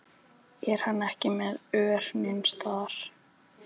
Er hann ekki með ör neins staðar?